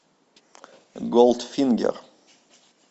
голдфингер